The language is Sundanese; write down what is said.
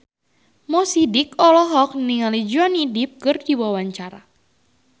Mo Sidik olohok ningali Johnny Depp keur diwawancara